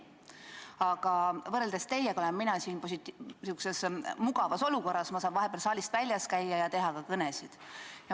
Aga võrreldes teiega olen mina siin mugavas olukorras, ma saan vahepeal saalist väljas käia ja teha ka kõnesid.